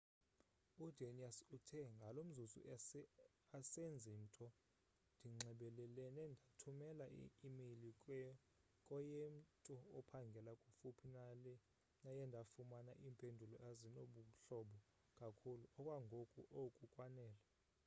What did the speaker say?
udanius uthe ngalo mzuzu asenzi nto ndinxebelelene ndathumela i-imeyile koyemtu ophangela kufuphi naye ndafumana iimpendulo ezinobuhlobo kakhulu okwangoku oku kwanele